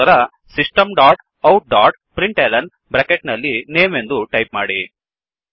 ನಂತರ system dot out dot println bracket ನಲ್ಲಿ name ಎಂದು ಟೈಪ್ ಮಾಡಿ